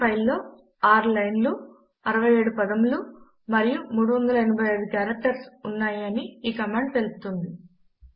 ఈ ఫైల్ లో 6 లైన్ లు 67 పదములు మరియు 385 కారెక్టర్స్ ఉన్నాయి అని ఈ కమాండ్ తెలుపుతుంది